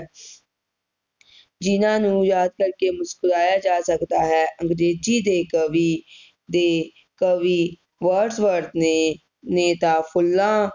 ਜਿਨ੍ਹਾਂ ਨੂੰ ਯਾਦਾਂ ਕਰਕੇ ਮੁਸਕੁਰਾਇਆ ਜਾ ਸਕਦਾ ਹੈ ਅੰਗਰੇਜ਼ੀ ਦੇ ਕਵੀ ਦੇ ਕਵੀ Words Ward ਨੇ ਤਾ ਫੁੱਲਾਂ